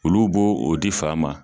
Olu b'o di fa ma.